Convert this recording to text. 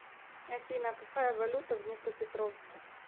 афина какая валюта в днепропетровске